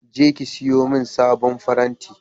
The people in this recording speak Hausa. Je ki siyo main sabon faranti!